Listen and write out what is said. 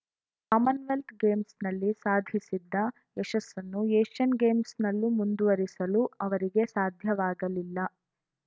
ಆಮನ್‌ವೆಲ್ತ್‌ ಗೇಮ್ಸ್‌ನಲ್ಲಿ ಸಾಧಿಸಿದ್ದ ಯಶಸ್ಸನ್ನು ಏಷ್ಯನ್‌ ಗೇಮ್ಸ್‌ನಲ್ಲೂ ಮುಂದುವರಿಸಲು ಅವರಿಗೆ ಸಾಧ್ಯವಾಗಲಿಲ್ಲ